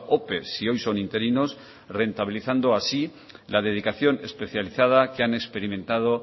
ope si hoy son interinos rentabilizando así la dedicación especializada que han experimentado